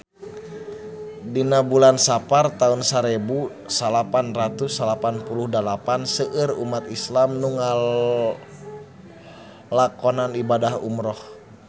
Dina bulan Sapar taun sarebu salapan ratus salapan puluh dalapan seueur umat islam nu ngalakonan ibadah umrah